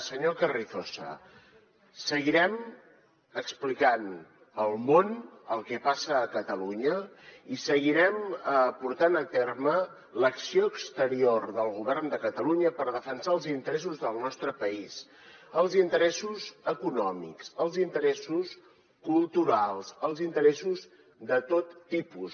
senyor carrizosa seguirem explicant al món el que passa a catalunya i seguirem portant a terme l’acció exterior del govern de catalunya per defensar els interessos del nostre país els interessos econòmics els interessos culturals els interessos de tot tipus